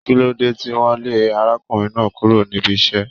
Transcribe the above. Kín ló dé tí wọn lé arákùnrin náà kúrò níbí iṣẹ?